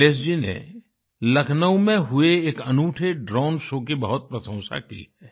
निलेश जी ने लखनऊ में हुए एक अनूठे ड्रोन शो की बहुत प्रशंसा की है